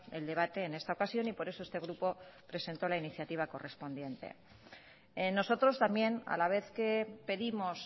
el debate en esta ocasión y por eso este grupo presentó la iniciativa correspondiente nosotros también a la vez que pedimos